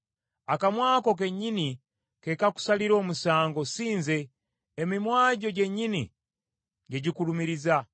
Akamwa ko kennyini ke kakusalira omusango si nze, emimwa gyo gyennyini gye gikulumiriza.